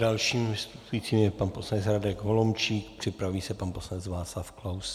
Dalším vystupujícím je pan poslanec Radek Holomčík, připraví se pan poslanec Václav Klaus.